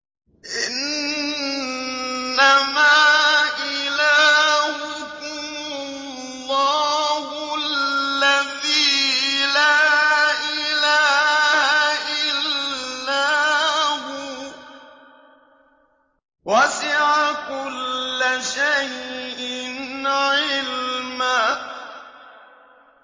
إِنَّمَا إِلَٰهُكُمُ اللَّهُ الَّذِي لَا إِلَٰهَ إِلَّا هُوَ ۚ وَسِعَ كُلَّ شَيْءٍ عِلْمًا